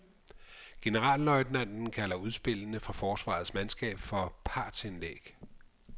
Generalløjtnanten kalder udspillene fra forsvarets mandskab for partsindlæg.